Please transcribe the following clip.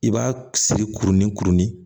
I b'a siri kurunin kurunin